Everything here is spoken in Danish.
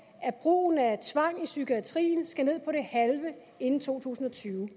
at brugen af tvang i psykiatrien skal ned på det halve inden to tusind og tyve